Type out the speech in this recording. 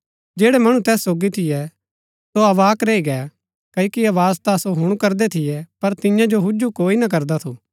जैड़ै मणु तैस सोगी थियै सो अवाक् रैई गै क्ओकि आवाज ता सो हुणु करदै थियै पर तियां जो हुजु कोई ना करदा थू